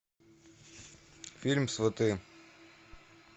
фильм сваты